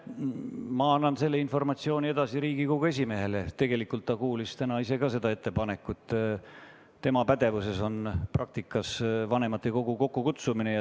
Ma annan selle informatsiooni Riigikogu esimehele edasi – tegelikult ta kuulis täna ka ise seda ettepanekut –, sest tema pädevuses on vanematekogu kokkukutsumine.